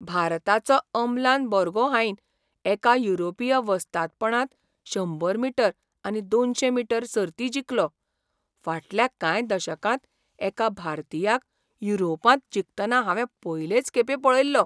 भारताचो अमलान बोर्गोहाइन एका युरोपीय वस्तादपणांत शंबर मीटर आनी दोनशे मीटर सर्ती जिखलो. फाटल्या कांय दशकांत एका भारतीयाक युरोपांत जिखतना हांवें पयलेच खेपे पळयल्लो.